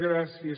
gràcies